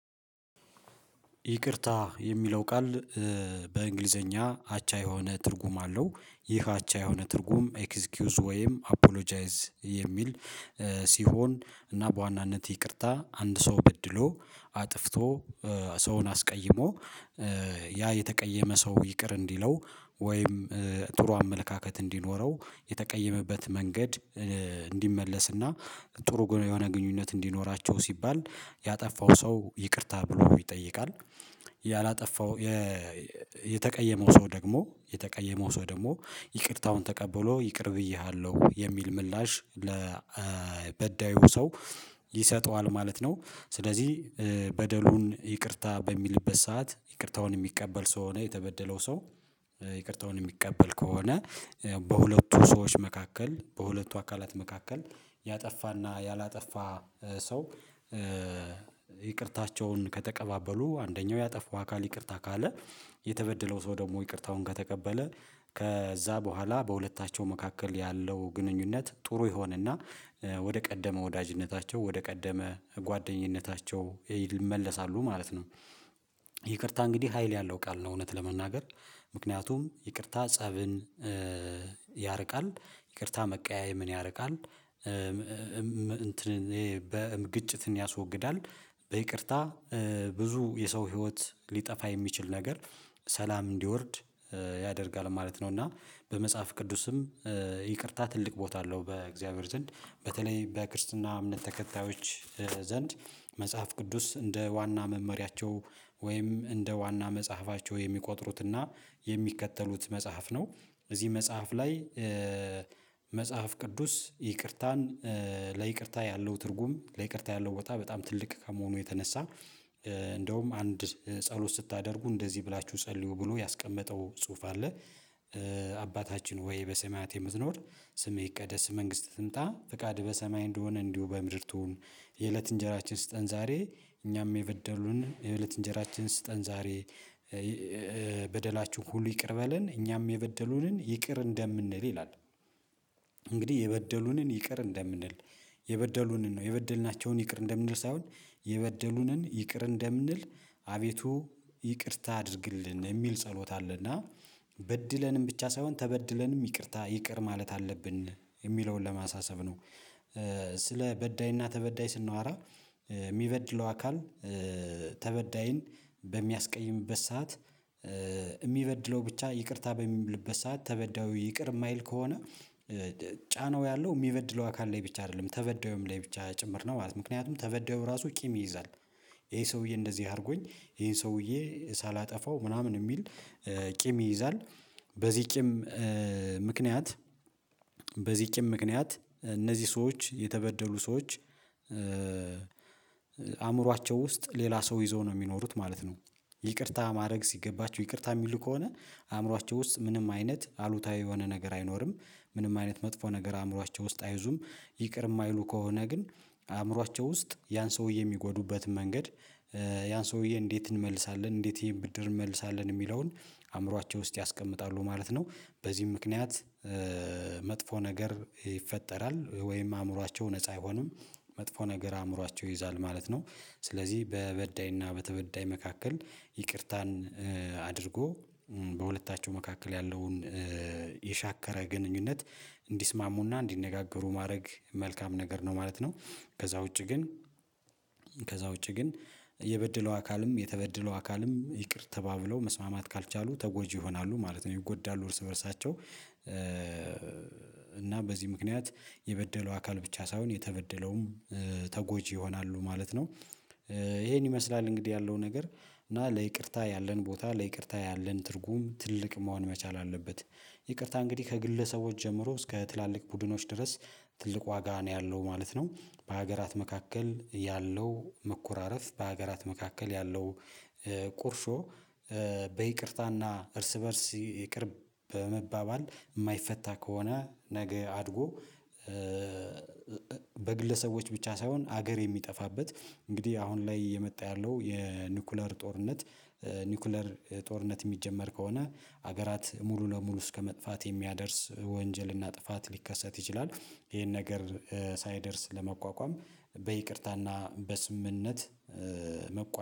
ይቅርታ የሚለው ቃል በኢንግሊዘኛ አቻ የሆነ ትርጉም አለው ይህ አቻ የሆነ ትርጉም ኤክስኪዩዝ ወይም አፖሎጃይዝ የሚል ሲሆን እና በዋናነት ይቅርታ አንድ ሰው በድሎ አጥፍቶ ሰውን አስቀይሞ ያ የተቀየመ ሰው ይቅር እንዲለው ወይም ጥሩ አመለካከት እንዲኖረው የተቀየመበት መንገድ ጥሩ ጎ የሆነ ግንኙነት እንዲኖራቸው ሲባል ያጠፋው ሰው ይቅርታ ብሎ ይጠይቃል ያላጠፋው የ የተቀየመው ሰው ደግሞ የተቀየመው ሰው ደግሞ ይቅርታውን ተቀብሎ ይቅር ብዬሃለሁ የሚል ምላሽ ለበዳዩ ሰው ይሰጠዋል ማለት ነው። ስለዚህ በደሉን ይቅርታ በሚልበት ሰዓት ይቅርታውን የሚቀበል ሰው ሆነ የተበደለው ሰው ይቅርታውን የሚቀበል ከሆነ ያው በሁለቱ ሰዎች መካከል በሁለቱ አካላት መካከል ያጠፋ እና ያላጠፋ ሰው ይቅርታቸውን ከተቀባበሉ አንደኛው ያጠፋ አካል ይቅርታ ካለ የተበደለው ሰው ደግሞ ይቅርታውን ከተቀበለ ከዛ በኋላ በሁለታቸው መካከል ያለው ግንኙነት ጥሩ ይሆንና ወደ ቀደመ ወዳጅነታቸው ወደ ቀደመ ጓደኝነታቸው ይመለሳሉ ማለት ነው። ይቅርታ እንግዲህ ሀይል ያለው ቃል ነው እውነት ለመናገር ምክንያቱም ይቅርታ ፀብን ያርቃል ይቅርታ መቀያየምን ያርቃል እንትንን ይሄ በ ግጭትን ያስወግዳል በይቅርታ ብዙ የሰው ህይወት ሊጠፋ የሚችል ነገር ሰላም እንዲወርድ ያደርጋል ማለት ነው። እና በመጽሐፍ ቅዱስም ይቅርታ ትልቅ ቦታ አለው በእግዚአብሔር ዘንድ በተለይ በክርስትና እምነት ተከታዮች ዘንድ መጽሐፍ ቅዱስ እንደ ዋና መመሪያቸው ወይም እንደ ዋና መጽሐፋቸው የሚቆጥሩት እና የሚከተሉት መጽሐፍ ነው። እዚህ መጽሐፍ ላይ ቅዱስ ይቅርታን ለይቅርታ ያለው ትርጉም ለይቅርታ ያለው ቦታ በጣም ትልቅ ከመሆኑ የተነሳ እንደውም አንድ ጸሎት ስታደርጉ እንደዚህ ብላችሁ ጸልዩ ብሎ ያስቀመጠው ጽሁፍ አለ። አባታችን ሆይ በሰማያት የምትኖር ስምህ ይቀደስ መንግስትህ ትምጣ ፍቃድህ በሰማይ እንደሆነ እንዲሁ በምድር ትሁን የእለት እንጀራችን ስጠን ዛሬ እኛም የበደሉንን የእለት እንጀራችንን ስጠን ዛሬ በደላችሁ ሁሉ ይቅር በለን እኛም የበደሉንን ይቅር እንደምንል ይላል። እንግዲህ የበደሉንን ይቅር እንደምንል የበደሉንን ነው የበደልናቸውን ይቅር እንደምንል ሳይሆን የበደሉንን ይቅር እንደምንል አቤቱ ይቅርታ አድርግልን የሚል ጸሎት አለ እና በድለንም ብቻ ሳይሆን ተበድለንም ይቅርታ ይቅር ማለት አለብን የሚለውን ለማሳሰብ ነው። ስለ በዳይ እና ተበዳይ ስናወራ ሚበድለው አካል ተበዳይን በሚያስቀይምበት ሰዓት የሚበድለው ብቻ ይቅርታ በሚልበት ሰዓት ተበዳዩ ይቅር እማይል ከሆነ ጫናው ያለው ሚበድለው አካል ላይ ብቻ አይደለም ተበዳዩም ላይ ብቻ ጭምር ነው ማለት ነው። ምክንያቱም ተበዳዩ ራሱ ቂም ይይዛል ይሄ ሰውዬ እንደዚህ አርጎኝ ይሄን ሰውዬ ሳላጠፋው ምናምን እሚል ቂም ይይዛል በዚህ ቂም ምክንያት በዚህ ቂም ምክንያት እነዚህ ሰዎች የተበደሉ ሰዎች አእምሯቸው ውስጥ ሌላ ሰው ይዘው ነው ሚኖሩት ማለት ነው። ይቅርታ ማድረግ ሲገባችሁ ይቅርታ ሚሉ ከሆነ አእምሯቸው ውስጥ ምንም አይነት አሉታዊ የሆነ ነገር አይኖርም ምንም አይነት መጥፎ ነገር አእምሯቸው ውስጥ አይዙም ይቅር እማይሉ ከሆነ ግን አእምሯቸው ውስጥ ያን ሰውዬ ሚጎዱበትን መንገድ ያን ሰውዬ እንዴት እንመልሳለን እንዴት ይሄን ብድር እንመልሳለን እሚለውን አእምሯቸው ውስጥ ያስቀምጣሉ ማለት ነው። በዚህም ምክንያት መጥፎ ነገር ይፈጠራል ወይም አእምሯቸው ነፃ አይሆንም መጥፎ ነገር አእምሯቸው ይይዛል ማለት ነው። ስለዚህ በበዳይ እና በተበዳይ መካከል ይቅርታን አድርጎ በሁለታቸው መካከል ያለውን የሻከረ ግንኙነት እንዲስማሙ እና እንዲነጋገሩ ማድረግ መልካም ነገር ነው ማለት ነው። ከዛ ውጪ ግን ከዛ ውጪ ግን የበደለው አካልም የተበደለው አካልም ይቅር ተባብለው መስማማት ካልቻሉ ተጎጂ ይሆናሉ ማለት ነው ይጎዳሉ እርስ በእርሳቸው እና በዚህ ምክንያት የበደለው አካል ብቻ ሳይሆን የተበደለውም ተጎጂ ይሆናሉ ማለት ነው። ይሄን ይመስላል እንግዲህ ያለው ነገር እና ለይቅርታ ያለን ቦታ ለይቅርታ ያለን ትርጉም ትልቅ መሆን መቻል አለበት። ይቅርታ እንግዲህ ከግለሰቦች ጀምሮ እስከ ትላልቅ ቡድኖች ድረስ ትልቅ ዋጋ ነው ያለው ማለት ነው። በሀገራት መካከል ያለው መኮራረፍ በሀገራት መካከል ያለው ቁርሾ በይቅርታ እና እርስ በእርስ ይቅር በመባባል እማይፈታ ከሆነ ነገ አድጎ በግለሰቦች ብቻ ሳይሆን ሀገር የሚጠፋበት እንግዲህ አሁን ላይ የመጣ ያለው የኒኩለር ጦርነት ኒኩለር ጦርነት የሚጀመር ከሆነ ሀገራት ሙሉ ለሙሉ እስከመጥፋት የሚያደርስ ወንጀል እና ጥፋት ሊከሰት ይችላል። ይሄን ነገር ሳይደርስ ለመቋቋም በይቅርታ እና በስምምነት መቋ